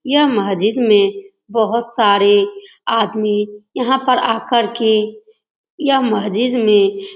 यह मस्जिद में बहुत सारे आदमी यहाँ पर आ कर के यह मस्जिद में --